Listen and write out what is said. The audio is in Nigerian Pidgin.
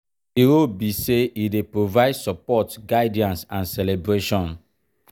di role be say e dey provide support guidance and celebration.